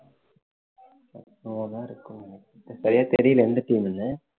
சரியா தெரியலே எந்த team ன்னு